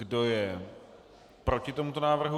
Kdo je proti tomuto návrhu?